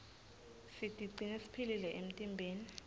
sitigcine siphilile emtimbeni